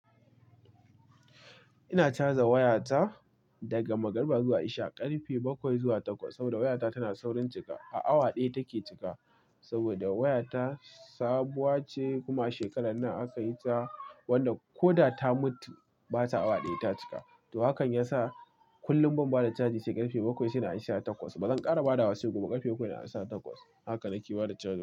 Ina caja wayata daga magriba zuwa isha ƙarfe bakwai zuwa takwas. Saboda wayata tana saurin cika, a awa ɗaya take cika saboda wayata sabuwa ce. Kuma a shekarar nan aka yi ta, wanda ko da ta mutu, bata awa ɗaya ta cika. To, hakan ya sa kullum ban bada caji sai ƙarfe bakwai sai na an shi a takwas. Ba zan ƙara badawa sai gobe ƙarfe bakwai na an sa takwas. Haka na ke bada caji.